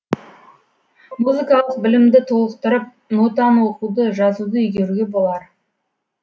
музыкалық білімді толықтырып нотаны оқуды жазуды игеруге болар